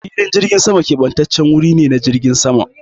Filin jirgin sama kebantaccen guri ne na jiragen sama.